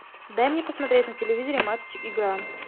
дай мне посмотреть на телевизоре матч игра